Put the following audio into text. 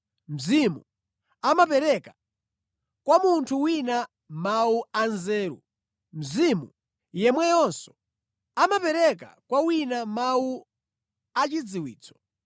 Mzimu amapereka kwa munthu wina mawu anzeru, Mzimu yemweyonso amapereka kwa wina mawu achidziwitso.